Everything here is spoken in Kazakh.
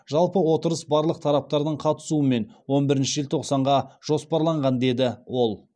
жалпы отырыс барлық тараптардың қатысуымен он бірінші желтоқсанға жоспарланған деді ол